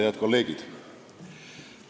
Head kolleegid!